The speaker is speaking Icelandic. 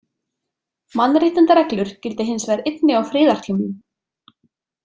Mannréttindareglur gilda hins vegar einnig á friðartímum.